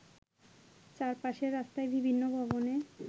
চারপাশের রাস্তায় বিভিন্ন ভবনে